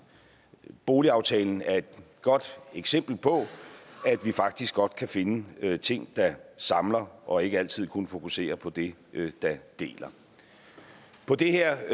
boligaftalen er et godt eksempel på at vi faktisk godt kan finde ting der samler og ikke altid kun fokuserer på det der deler på det her